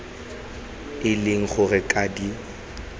e leng gore ga di